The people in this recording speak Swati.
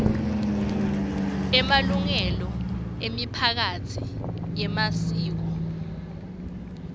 emalungelo emiphakatsi yemasiko